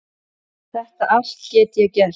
Þetta allt get ég gert.